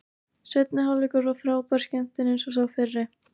Seinni hálfleikur var frábær skemmtun eins og sá fyrri.